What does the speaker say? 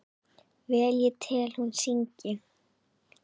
Vel ég tel hún syngi.